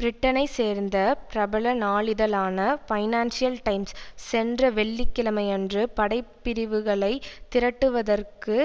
பிரிட்டனைச் சேர்ந்த பிரபல நாளிதழான பைனான்சியல் டைம்ஸ் சென்ற வெள்ளி கிழமையன்று படை பிரிவுகளை திரட்டுவதற்கு